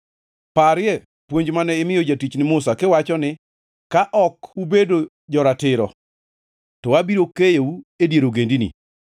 “Parie puonj mane imiyo jatichni Musa, kiwacho ni, ‘Ka ok ubedo jo-ratiro, to abiro keyou e dier ogendini,